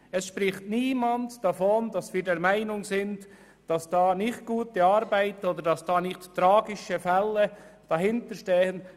Niemand spricht davon, dass wir der Meinung sind, dass dort nicht gute Arbeit geleistet wird oder dass keine tragischen Fälle dahinterstecken.